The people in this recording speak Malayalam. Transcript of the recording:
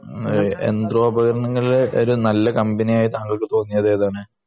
യന്ത്രോപകരങ്ങളിൽ ഒരു നല്ല കമ്പനിയായി താങ്കൾക്ക് തോന്നിയതേതാണ്?